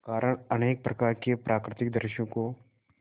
कारण अनेक प्रकार के प्राकृतिक दृश्यों को